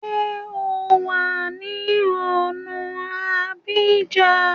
Ṣé o wà ní ọ̀na Abidjan?